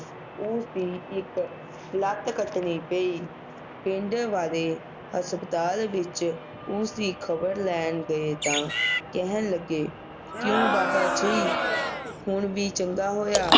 ਉਸਦੀ ਇਕ ਲੱਤ ਕੱਟਣੀ ਪਈ ਪਿੰਡ ਵਾਲੇ ਹਸਪਤਾਲ ਵਿਚ ਉਸਦੀ ਖ਼ਬਰ ਲੈਣ ਗਏ ਤਾ ਕਹਿਣ ਲਗੇ ਕਿਊ ਬਾਬਾ ਜੀ ਹੁਣ ਵੀ ਚੰਗਾ ਹੋਇਆ